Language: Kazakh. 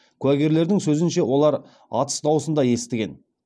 куәгерлердің сөзінше олар атыс даусын да естіген